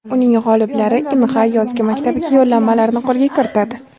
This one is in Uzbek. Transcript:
Uning g‘oliblari Inha yozgi maktabiga yo‘llanmalarni qo‘lga kiritadi.